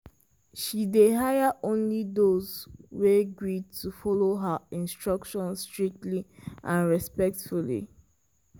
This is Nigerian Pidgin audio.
she dey hire only those wey gree to follow her instructions strictly and respectfully.